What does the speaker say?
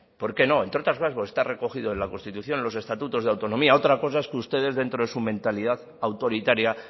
por qué no entre otras cosas porque está recogido en la constitución en los estatutos de autonomía otra cosa es que ustedes dentro de su mentalidad autoritaria